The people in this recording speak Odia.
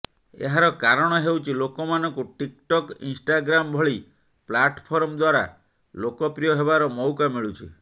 ଏହାର କାରଣ ହେଉଛି ଲୋକମାନଙ୍କୁ ଟିକଟକ ଇନଷ୍ଟାଗ୍ରାମ ଭଳି ପ୍ଲାଟଫର୍ମ ଦ୍ୱାରା ଲୋକପ୍ରିୟ ହେବାର ମଉକା ମିଳୁଛି